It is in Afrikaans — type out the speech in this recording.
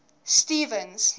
stevens